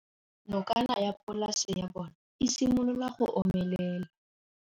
Nokana ya polase ya bona, e simolola go omelela.